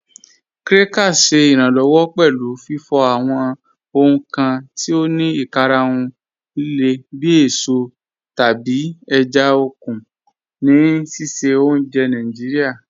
Krakers ṣẹ iranlọwọ pẹlu fifọ awọn ohun kan ti o ni ikarahun lile bi èsọ tabi èjá okun ni sísẹ ọ̀unjẹ́ Naijiria.